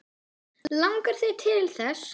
Langar þig til þess?